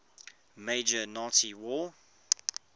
major nazi war